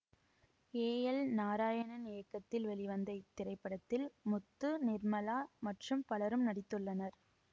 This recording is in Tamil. ஏ எல் நாராயணன் இயக்கத்தில் வெளிவந்த இத்திரைப்படத்தில் முத்து நிர்மளா மற்றும் பலரும் நடித்துள்ளனர்